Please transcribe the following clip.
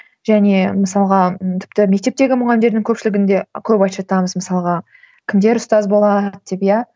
және мысалға тіпті мектептегі мұғалімдердің көпшілігін де көп айтып жатамыз мысалға кімдер ұстаз бола алады деп иә